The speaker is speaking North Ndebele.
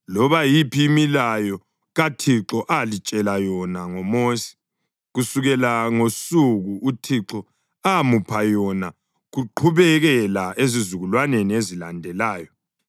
loba yiphi imilayo kaThixo alitshele yona ngoMosi, kusukela ngosuku uThixo amupha yona kuqhubekela ezizukulwaneni ezilandelayo,